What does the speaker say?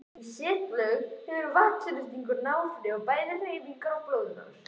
Í setlaugum hefur vatnsþrýstingur áhrif bæði á hreyfingar og blóðrás.